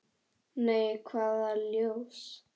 Nei, hvaða ljós?